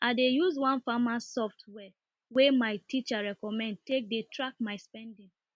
i use one farm software wey my teacher recommend take dey track my spending